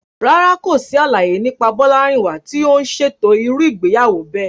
Rárá, kò sí àlàyé nípa Bolarinwa tí ó ń ṣètò irú ìgbéyàwó bẹ́ẹ̀.